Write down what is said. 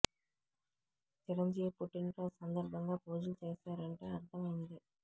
చిరంజీవి పుట్టిన రోజు సందర్భంగా పూజలు చేసారంటే అర్థం వుంది